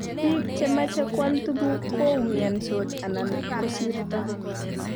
biik chemache koal tuguk koumiansot anan kosirto